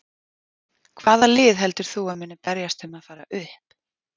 Hvaða lið heldur þú að muni berjast um að fara upp?